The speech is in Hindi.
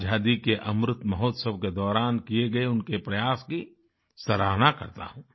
आजादी के अमृत महोत्सव के दौरान किये गए उनके प्रयास की सराहना करता हूँ